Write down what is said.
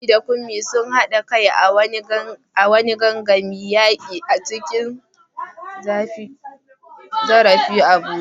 Funmi da Kunmi sun haɗa kai a wani gangamin yaki da cin zarafi a Abuja.